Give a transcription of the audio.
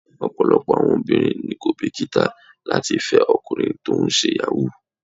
Ọ̀pọ̀lọpọ̀ àwọn obìnrin ni kò bìkítà láti fẹ́ ọkùnrin tó ń ṣe Yahoo.